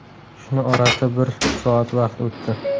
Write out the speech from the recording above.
Shuni orasida bir soat vaqt o‘tdi.